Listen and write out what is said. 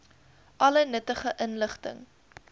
alle nuttige inligting